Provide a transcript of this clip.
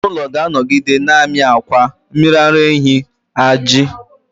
Anụ ụlọ ga-anọgide na-amị akwa, mmiri ara ehi, ajị wdg